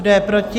Kdo je proti?